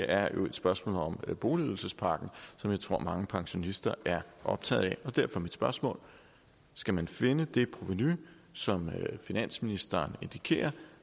er jo et spørgsmål om boligydelsespakken som jeg tror at mange pensionister er optaget af og derfor er mit spørgsmål skal man finde det provenu som finansministeren indikerer